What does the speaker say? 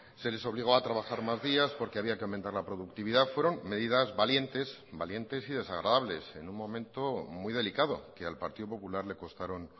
se les obligó a trabajar más días porque había que aumentar la productividad fueron medidas valientes valientes y desagradables en un momento muy delicado que al partido popular le costaron